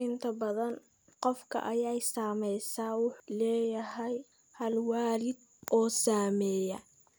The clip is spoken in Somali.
Inta badan, qofka ay saamaysay wuxuu leeyahay hal waalid oo saameeya.